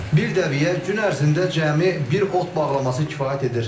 Bir dəvəyə gün ərzində cəmi bir ot bağlaması kifayət edir.